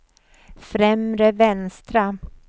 främre vänstra